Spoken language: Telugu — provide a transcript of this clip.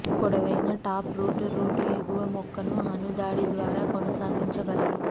పొడవైన టాప్ రూట్ రూట్ ఎగువ మొక్కను అణు దాడి ద్వారా కొనసాగించగలదు